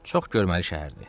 Çox görməli şəhərdir.